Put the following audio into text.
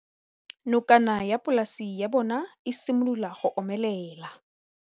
Nokana ya polase ya bona, e simolola go omelela.